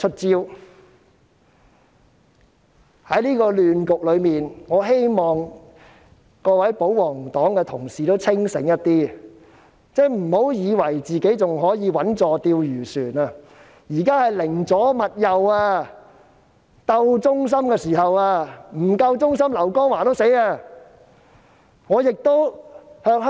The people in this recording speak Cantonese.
在這個亂局中，我希望各位保皇黨的同事清醒一點，不要以為自己還可以穩坐釣魚船，現在是寧左勿右、鬥忠心的時候，不夠忠心的話，連劉江華也遭殃。